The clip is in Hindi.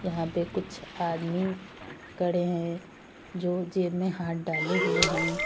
यहां पे कुछ आदमी खड़े हैं जो जेब में हाथ डाले हुए हैं।